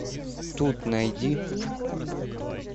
тут найди